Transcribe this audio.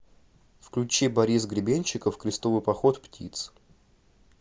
включи борис гребенщиков крестовый поход птиц